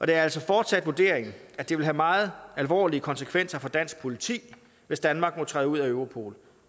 det er altså fortsat vurderingen at det vil have meget alvorlige konsekvenser for dansk politi hvis danmark må træde ud af europol